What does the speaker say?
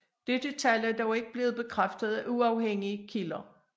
Dette tal er dog ikke blevet bekræftet af uafhængige kilder